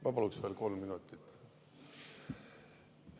Ma paluks veel kolm minutit.